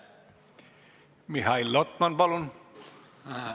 Mihhail Lotman, palun!